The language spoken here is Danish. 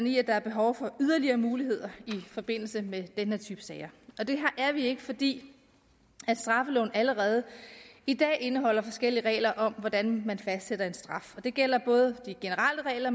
i at der er behov for yderligere muligheder i forbindelse med den her type sager og det er vi ikke fordi straffeloven allerede i dag indeholder forskellige regler om hvordan man fastsætter en straf det gælder både de generelle regler